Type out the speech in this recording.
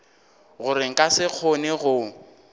gore nka se kgone go